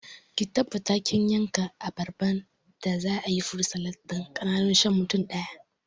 Ki tabbata kin yanka abarban da za'ayi furut salad ɗin ƙananu shan mutum ɗaya